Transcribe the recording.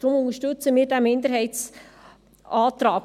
Deshalb unterstützen wir den Minderheitsantrag.